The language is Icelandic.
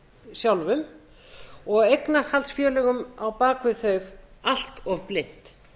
sjálfum og eignarhaldsfélögum á bak við þau allt of blint